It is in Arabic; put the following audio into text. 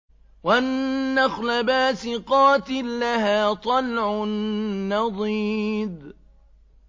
وَالنَّخْلَ بَاسِقَاتٍ لَّهَا طَلْعٌ نَّضِيدٌ